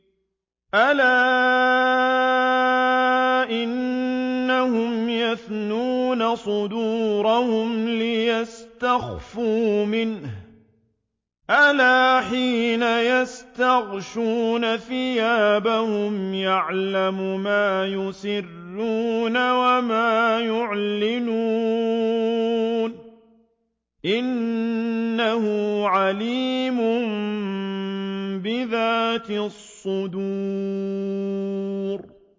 أَلَا إِنَّهُمْ يَثْنُونَ صُدُورَهُمْ لِيَسْتَخْفُوا مِنْهُ ۚ أَلَا حِينَ يَسْتَغْشُونَ ثِيَابَهُمْ يَعْلَمُ مَا يُسِرُّونَ وَمَا يُعْلِنُونَ ۚ إِنَّهُ عَلِيمٌ بِذَاتِ الصُّدُورِ